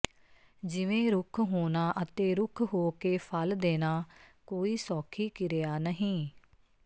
ਜਿਵੇਂ ਰੁੱਖ ਹੋਣਾ ਅਤੇ ਰੁੱਖ ਹੋ ਕੇ ਫਲ ਦੇਣਾ ਕੋਈ ਸੌਖੀ ਕਿਰਿਆ ਨਹੀਂ